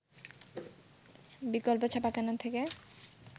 বিকল্প ছাপাখানা থেকে